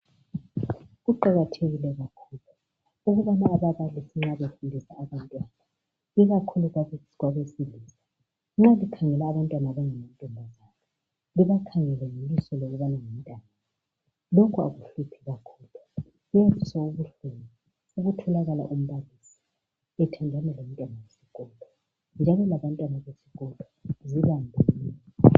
Kuqakathekile kakhulu ukubana ababalisi nxa befundisa abantwana ikakhulu kwabesilisa nxa bekhangela abantwana abangamantombazana bebakhangele ngelihlo lokubana ngumntwanabo lokhu akuhluphi kakhulu sekutholakala umbalisi ethandana lomtwana wesikolo njalo labantwana besikolo zibambeni